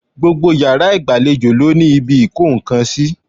Gbogbo iyàrá ìgbàlejò ló ní ibi ìkó nkan sí